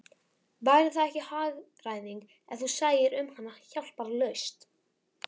Væri það ekki hagræðing, ef þú sæir um hana hjálparlaust?